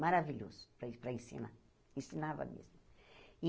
Maravilhoso para en para ensinar, ensinava mesmo.